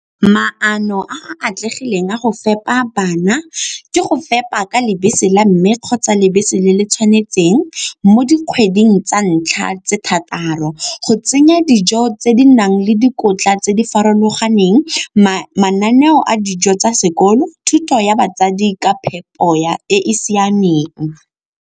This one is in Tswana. Maano a a atlegileng a go fepa bana ke go fepa ka lebese la mme kgotsa lebese le le tshwanetseng mo dikgweding tsa ntlha tse thataro. Go tsenya dijo tse di nang le dikotla tse di farologaneng, mananeo a dijo tsa sekolo, thuto ya batsadi ka phepo e e siameng.